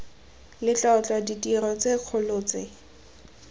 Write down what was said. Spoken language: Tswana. letlotlo ditiro tse dikgolo tse